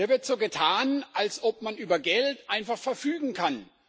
Hier wird so getan, als ob man über Geld einfach verfügen kann.